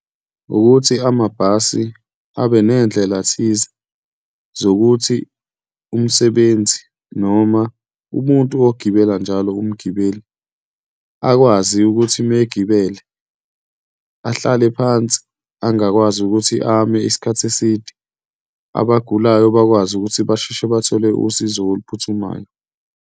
Ukuthi amabhasi abe ney'ndlela thize zokuthi umsebenzi noma umuntu ogibela njalo, umgibeli akwazi ukuthi uma egibele ahlale phansi, angakwazi ukuthi ame isikhathi eside. Abagulayo bakwazi ukuthi basheshe bathole usizo oluphuthumayo.